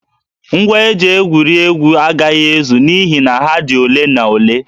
Ngwa eji egwuri egwu agaghị ezu n'ihi na ha dị ole na ole